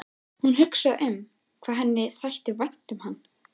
Er hann of metnaðarfullur?